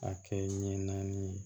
A kɛ ɲɛ naani ye